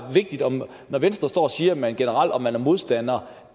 når venstre står og siger at man generelt er modstander